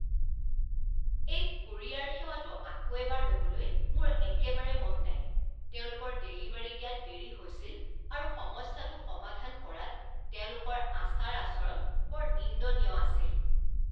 এই কোৰিয়াৰ সেৱাটো আকৌ এবাৰ ল'বলৈ মোৰ একেবাৰে মন নাই। তেওঁলোকৰ ডেলিভাৰী দিয়াত দেৰি হৈছিল আৰু সমস্যাটো সমাধান কৰাত তেওঁলোকৰ আচাৰ আচৰণ বৰ নিন্দনীয় আছিল।